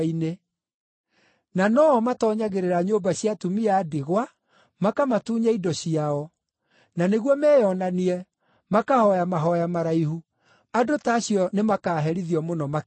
Na no-o matoonyagĩrĩra nyũmba cia atumia a ndigwa makamatunya indo ciao, na nĩguo meyonanie, makahooya mahooya maraihu. Andũ ta acio nĩ makaaherithio mũno makĩria.”